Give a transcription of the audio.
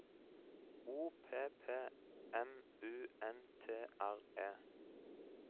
O P P M U N T R E